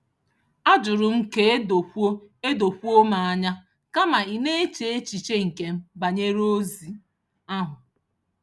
A jụrụ m ka e dokwuo e dokwuo m anya kama ị na-eche echiche nke m banyere ozi ahụ